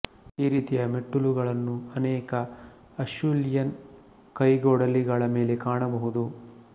ಈ ರೀತಿಯ ಮೆಟ್ಟಿಲುಗಳನ್ನು ಅನೇಕ ಅಷ್ಯೂಲಿಯನ್ ಕೈಗೊಡಲಿಗಳ ಮೇಲೆ ಕಾಣಬಹುದು